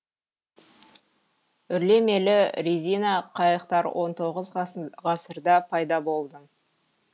үрлемелі резина қайықтар он тоғыз ғасырда пайда болды